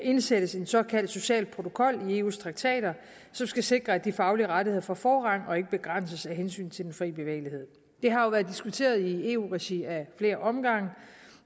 indsættes en såkaldt social protokol i eus traktater som skal sikre at de faglige rettigheder får forrang og ikke begrænses af hensyn til den fri bevægelighed det har jo været diskuteret i eu regi af flere omgange